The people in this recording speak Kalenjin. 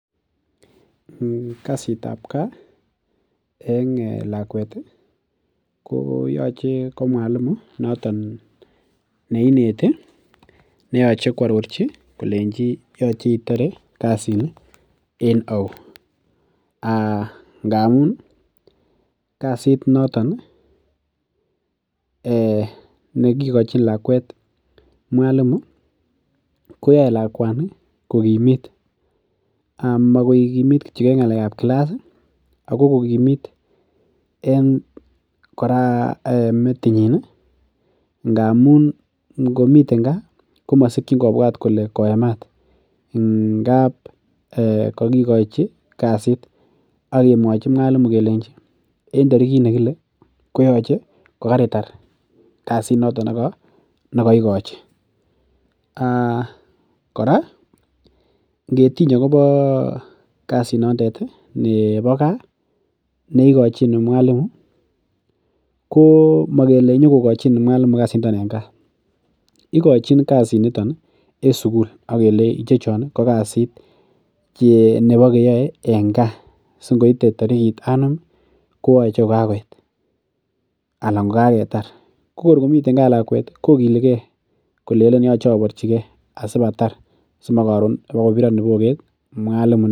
Kasit ab kaa en lakwet ih koyoche ko mwalimu noton neineti neooche kiarorchi kolenji yoche itore kasit ni en ou ngamun kasit noton nekikikochin lakwet mwalimu koyoe lakwani kokimit amakokimit kityo en ng'alek ab class ako kokimit en kora metinyin ngamun ngomiten kaa komosikyin kobwat kole koemat ngap kokikochi kasit ak kemwochi mwalimu kelenji en tarikit nekile kooche ko keritar kasit noton nekoikochi kora ngetiny akobo kasit nondet ih nebo kaa neikochin mwalimu ko mokele nyokokochin mwalimu kasit niton en gaa ikochin kasit niton en sukul ak kelei ichechon ko kasit nebo keyoe en kaa si ngoite tarikit anum kooche kokakoit anan kokaketar ko kor komiten kaa lakwet kokiligee kolenen yoche aborchigee asip atar simokoron ibokobiron kiboket mwalimu.